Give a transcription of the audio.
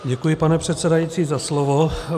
Děkuji, pane předsedající, za slovo.